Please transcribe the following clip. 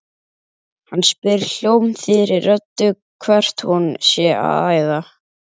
Hann spyr hljómþýðri röddu hvert hún sé að æða.